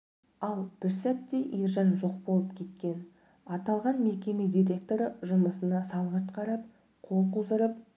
ал бір сәтте ержан жоқ болып кеткен аталған мекеме директоры жұмысына салғырт қарап қол қусырып